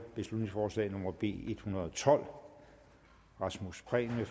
beslutningsforslag nummer b en hundrede og tolv rasmus prehn